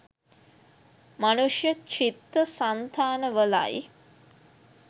මනුෂ්‍ය චිත්ත සන්තානවලයි.